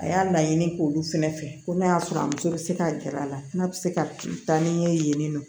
A y'a laɲini k'olu fɛnɛ fɛ ko n'a y'a sɔrɔ a muso bɛ se ka gɛr'a la n'a bɛ se ka taa ni ye yen nɔ